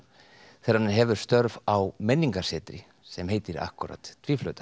þegar hann hefur störf á menningarsetri sem heitir akkúrat